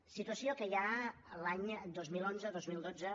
situació que ja l’any dos mil onze dos mil dotze